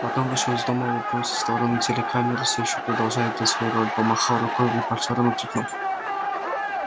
потом вышел из дома улыбнулся в сторону телекамеры все ещё продолжая играть свою роль помахал рукой репортёрам и крикнул